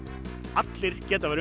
allir geta verið